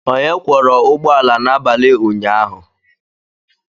Onye kwọra ụgbọ ala n'abalị ụnyaahụ?